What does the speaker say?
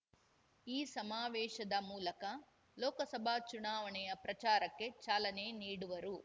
ಈ ಸಮಾವೇಶದ ಮೂಲಕ ಲೋಕಸಭಾ ಚುನಾವಣೆಯ ಪ್ರಚಾರಕ್ಕೆ ಚಾಲನೆ ನೀ‌ಡುವರು